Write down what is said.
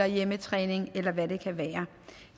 hjemmetræning eller hvad det kan være